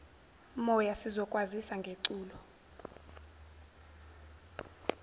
moya sizokwazisa ngeculo